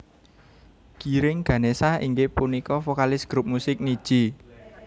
Giring Ganesha inggih punika vokalis grup musik Nidji